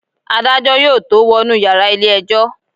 Adájọ́ yóò tó wọnú yàrá ilé ẹjọ́.